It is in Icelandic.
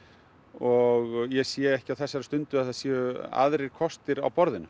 og ég sé ekki á þessari stundu að það séu aðrir kostir á borðinu